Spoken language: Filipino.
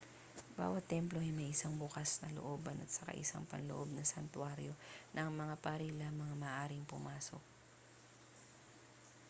bawat templo ay may isang bukas na looban at saka isang panloob na santuwaryo na ang mga pari lamang ang maaaring pumasok